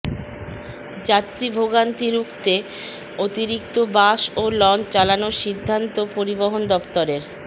যাত্রী ভোগান্তি রুখতে অতিরিক্ত বাস ও লঞ্চ চালানোর সিদ্ধান্ত পরিবহন দফতরের